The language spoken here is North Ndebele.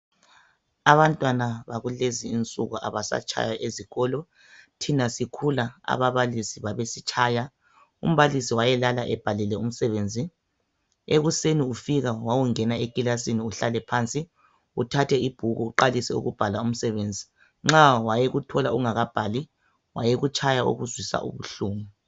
Abantwana bakulezi nsuku abasatshaywa ezikolo .Thina sikhula ababalisi babesitshaya . Umbalisi wayelala ebhalile umsebenzi. Ekuseni ufika wawungena ekilasini uhlale phansi uthathe ibhuku uqalise ukubhala umsebenzi .Nxa wayekuthola ungakabhali wayekutshaya okuzwisa ubuhlungu .